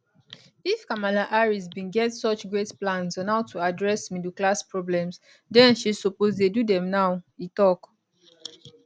if kamala harris bin get such great plans on how to address middle class problems then she suppose dey do dem now e tok